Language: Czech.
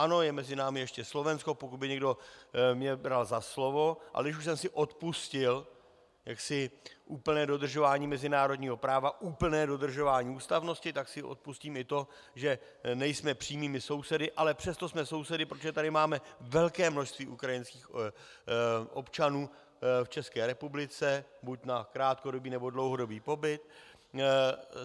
Ano, je mezi námi ještě Slovensko, pokud by mě někdo bral za slovo - a když už jsem si odpustil jaksi úplně dodržování mezinárodního práva, úplné dodržování ústavnosti, tak si odpustím i to, že nejsme přímými sousedy, ale přesto jsme sousedy, protože tady máme velké množství ukrajinských občanů v České republice, buď na krátkodobý, nebo dlouhodobý pobyt.